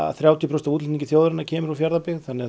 þrjátíu prósent af útflutningi þjóðarinnar kemur frá Fjarðabyggð þannig að